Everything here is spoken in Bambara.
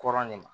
Kɔrɔ ne ma